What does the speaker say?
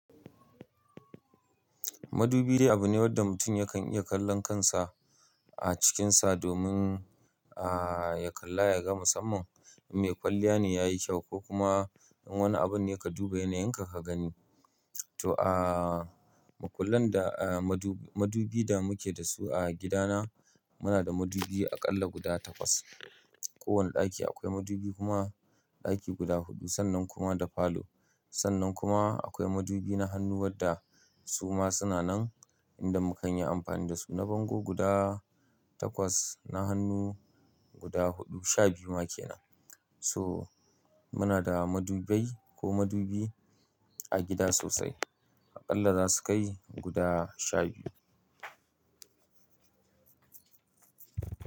Madubi abu ne wanda mutum yakan iya kallon kansa a cikinsa domin, a, ya kalla ya ga musamman me kwalliya ne ya yi kyau ko kuma in wani abun yake duba yana yinka ka gani. To a, mukullan da, a, madubi, madubi da muke da su a gidana muna da madubi aƙalla guda takwas. Kowane ɗaki akwai madubi kuma ɗaki guda huɗu sannan kuma da falo. Sannan kuma akwai madubi na hannu wadda su ma suna nan inda mukan yi amfani da su na bango guda takwas, na hannu guda huɗu, sha biyu ma kenan. So muna da madubai ko madubi a gida sosai. Aƙalla za su kai guda sha biyu.